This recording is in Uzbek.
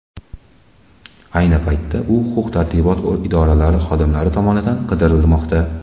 Ayni paytda u huquq-tartibot idoralari xodimlari tomonidan qidirilmoqda.